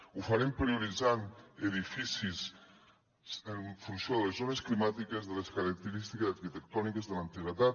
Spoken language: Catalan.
ho farem prioritzant edificis en funció de les zones climàtiques de les característiques arquitectòniques de l’antiguitat